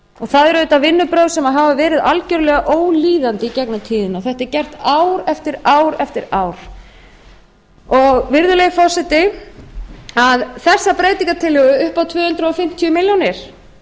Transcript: það eru auðvitað vinnubrögð sem hafa verið algjörlega ólíðandi í gegnum tíðina og þetta er gert ár eftir ár eftir ár virðulegi forseti þessa breytingartillögu upp á tvö hundruð fimmtíu milljónir